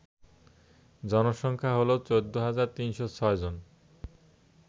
জনসংখ্যা হল ১৪৩০৬ জন